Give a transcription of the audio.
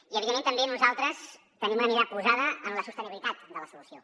i evidentment també nosaltres tenim una mirada posada en la sostenibilitat de la solució